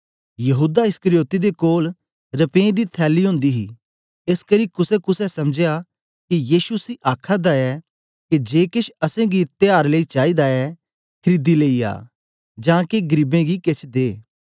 यहूदा इस्करियोती दे कोल रपें दी थैली ओंदी ही एसकरी कुसेकुसे समझया के यीशु उसी आखादा ऐ के जे केछ असेंगी त्यार लेई चाईदा ऐ खरीदी लेई आ जां के गरीबें गी केछ दे